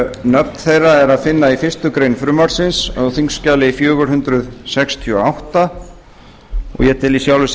nöfn þeirra er að finna í fyrstu grein frumvarpsins á þingskjali fjögur hundruð sextíu og átta og ég tel í sjálfu sér